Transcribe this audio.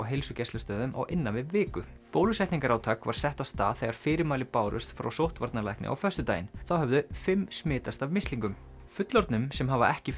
heilsugæslustöðvum á innan við viku bólusetningarátak var sett af stað þegar fyrirmæli bárust frá sóttvarnalækni á föstudaginn þá höfðu fimm smitast af mislingum fullorðnum sem hafa ekki